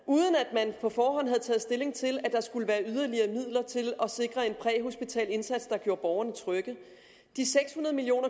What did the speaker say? man på forhånd havde taget stilling til at der skulle være yderligere midler til at sikre en præhospital indsats der gjorde borgerne trygge de seks hundrede million